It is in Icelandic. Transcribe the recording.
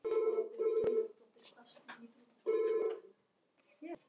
Þú skalt ekki hafa áhyggjur af því.